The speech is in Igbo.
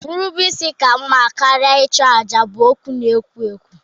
Nrubeisi ka mma karịa ịchụ àjà bụ okwu na-ewu ewu.